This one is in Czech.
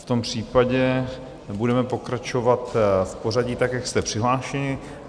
V tom případě budeme pokračovat v pořadí tak, jak jste přihlášeni.